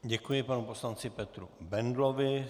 Děkuji panu poslanci Petru Bendlovi.